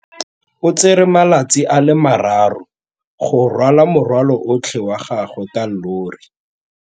O tsere malatsi a le marraro go rwala morwalo otlhe wa gagwe ka llori.